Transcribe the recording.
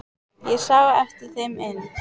Ég sá á eftir þeim inn.